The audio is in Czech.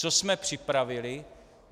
Co jsme připravili?